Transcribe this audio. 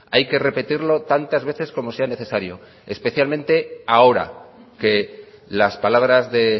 hay que repetirlo tantas veces como sea necesario especialmente ahora que las palabras de